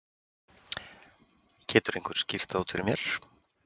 Getur einhver skýrt það út fyrir mér?